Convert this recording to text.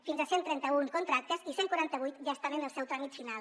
fins a cent i trenta un contractes i cent i quaranta vuit ja estan en el seu tràmit final